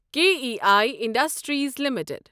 K E I industries limited